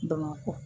Bamakɔ